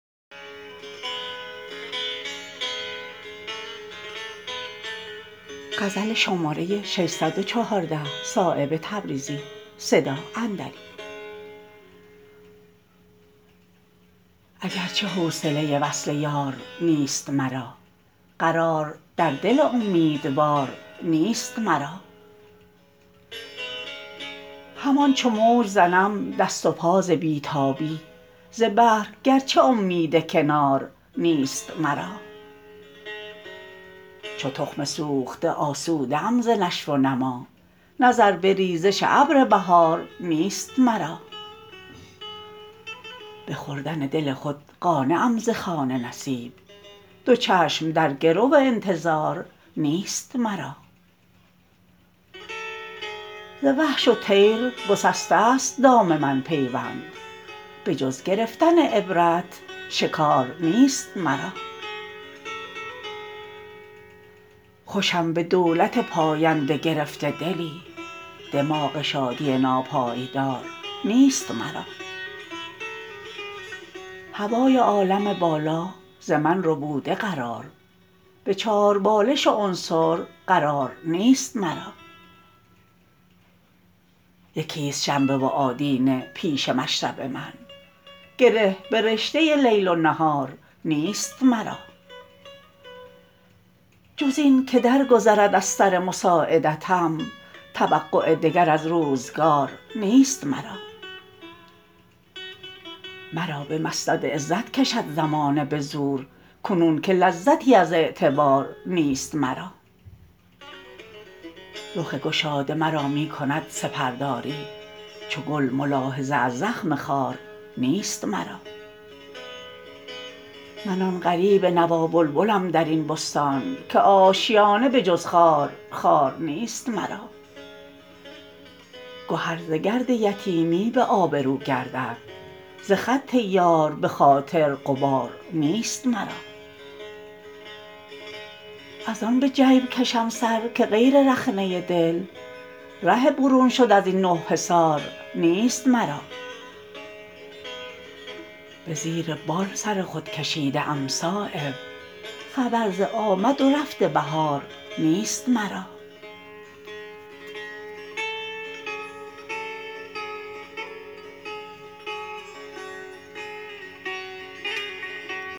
اگر چه حوصله وصل یار نیست مرا قرار در دل امیدوار نیست مرا همان چو موج زنم دست و پا ز بی تابی ز بحر اگر چه امید کنار نیست مرا چو تخم سوخته آسوده ام ز نشو و نما نظر به ریزش ابر بهار نیست مرا به خوردن دل خود قانعم ز خوان نصیب دو چشم در گرو انتظار نیست مرا ز وحش و طیر گسسته است دام من پیوند به جز گرفتن عبرت شکار نیست مرا خوشم به دولت پاینده گرفته دلی دماغ شادی ناپایدار نیست مرا هوای عالم بالا ز من ربوده قرار به چاربالش عنصر قرار نیست مرا یکی است شنبه و آدینه پیش مشرب من گره به رشته لیل و نهار نیست مرا جز این که در گذرد از سرمساعدتم توقع دگر از روزگار نیست مرا مرا به مسند عزت کشد زمانه به زور کنون که لذتی از اعتبار نیست مرا رخ گشاده مرا می کند سپرداری چو گل ملاحظه از زخم خار نیست مرا من آن غریب نوا بلبلم درین بستان که آشیانه به جز خار خار نیست مرا گهر ز گرد یتیمی به آبرو گردد ز خط یار به خاطر غبار نیست مرا ازان به جیب کشم سر که غیر رخنه دل ره برون شد ازین نه حصار نیست مرا به زیر بال سر خود کشیده ام صایب خبر ز آمد و رفت بهار نیست مرا